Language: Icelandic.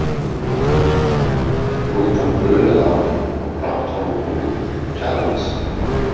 Rútan brunaði áfram og brátt var hún komin uppá Kjalarnes.